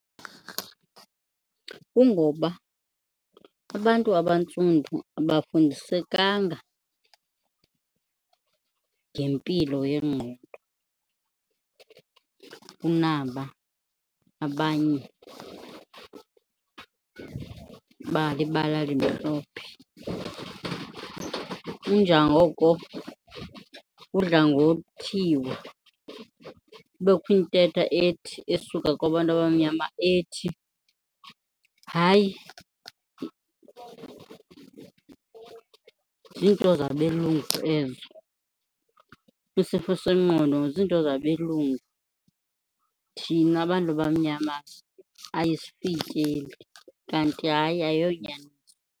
Kungoba abantu abantsundu abafundisekanga ngempilo yengqondo kunaba abanye balibala elimhlophe. Inja ngoko kudla ngothiwa kubekho intetha ethi, esuka kwabantu abamnyama ethi, hayi ziinto zabelungu ezo. Isifo sengqondo ziinto zabelungu thina bantu bamnyama ayifikeleli, kanti hayi ayonyani.